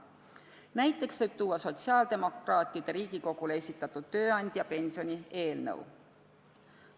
Näiteks võib tuua sotsiaaldemokraatide Riigikogule esitatud tööandjapensioni eelnõu.